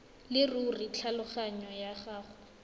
leruri thulaganyo ya go